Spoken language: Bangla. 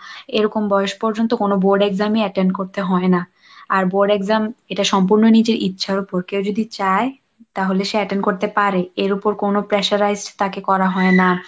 এরকম বয়স পর্যন্ত কোন board exam attend করতে হয় না, আর board exam এটা সম্পূর্ণ নিজের ইচ্ছার উপর, কেউ যদি চায় তাহলে সে attend করতে পারে, এর ওপর কোন pressurized তাকে করা হয় না।